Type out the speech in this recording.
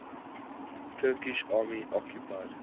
turkish army occupied